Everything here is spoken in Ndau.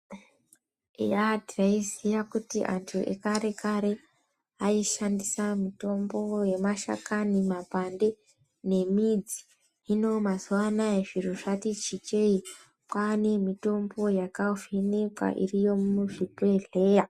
Eya taiziya kuti antu ekarekare aishandisa mitombo yemashakani, mapande nemidzi. Hino mazuwa anaya zviro zvati chichei. Kwane mitombo yakavhenekwa iri yemuzvibhedhleya.